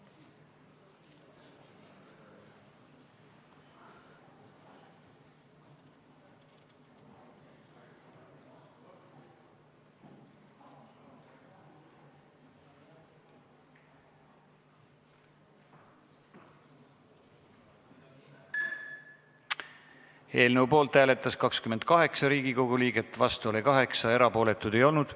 Hääletustulemused Eelnõu poolt hääletas 28 Riigikogu liiget, vastu oli 8, erapooletuid ei olnud.